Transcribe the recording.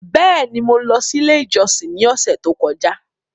Bẹẹni, Mo lọ si ile ijọsin ni ọsẹ to kọja